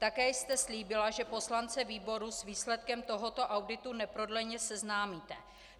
Také jste slíbila, že poslance výboru s výsledkem tohoto auditu neprodleně seznámíte.